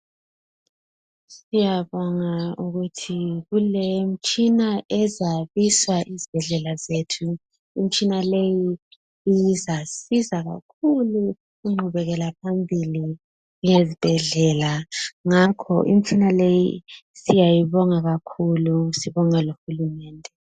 Siyabonga ukuthi kulemitshina ezabiswa ezibhedlela zethu. Imitshina leyi izasiza kakhulu inqubekela phambili yezibhedlela, ngakho imitshina leyi siyayibonga kakhulu, sibonga lohulumende.